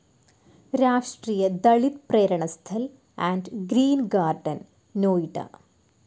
രാഷ്ട്രീയ Dalit Prerna Sthal and Green Garden, Noida